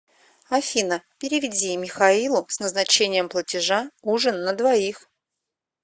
афина переведи михаилу с назначением платежа ужин на двоих